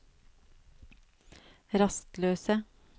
rastløse